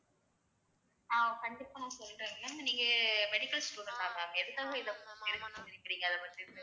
ஆஹ் கண்டிப்பா நான் சொல்றேன் mam நீங்க medical student ஆ mam எதுக்காக இத தெரிஞ்சுக்கணும்னு நினைக்கறிங்க அதப்பத்தி